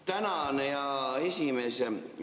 Tänan, hea esimees!